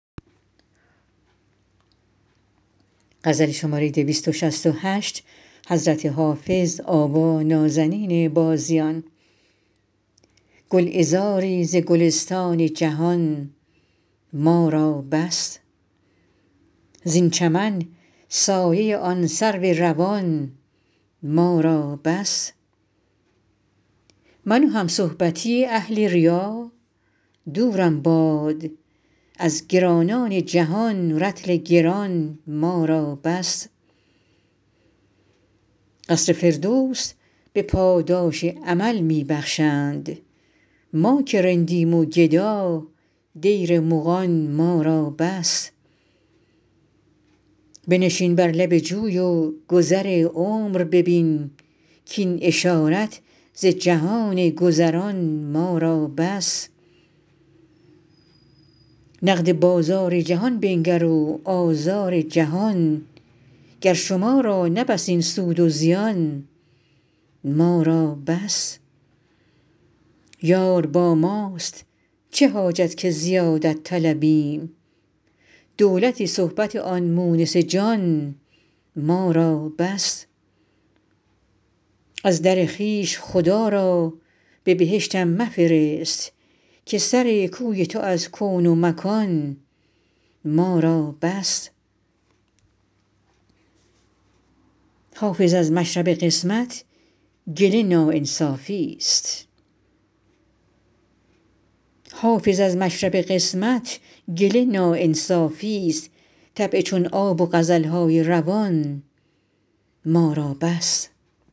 گلعذاری ز گلستان جهان ما را بس زین چمن سایه آن سرو روان ما را بس من و همصحبتی اهل ریا دورم باد از گرانان جهان رطل گران ما را بس قصر فردوس به پاداش عمل می بخشند ما که رندیم و گدا دیر مغان ما را بس بنشین بر لب جوی و گذر عمر ببین کاین اشارت ز جهان گذران ما را بس نقد بازار جهان بنگر و آزار جهان گر شما را نه بس این سود و زیان ما را بس یار با ماست چه حاجت که زیادت طلبیم دولت صحبت آن مونس جان ما را بس از در خویش خدا را به بهشتم مفرست که سر کوی تو از کون و مکان ما را بس حافظ از مشرب قسمت گله ناانصافیست طبع چون آب و غزل های روان ما را بس